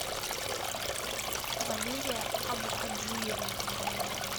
валерия абухаджиевна